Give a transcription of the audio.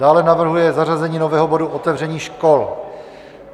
Dále navrhuje zařazení nového bodu - otevření škol.